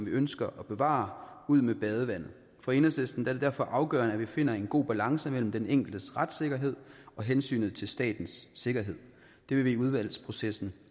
ønsker at bevare ud med badevandet for enhedslisten er det derfor afgørende at vi finder en god balance mellem den enkeltes retssikkerhed og hensynet til statens sikkerhed det vil vi i udvalgsprocessen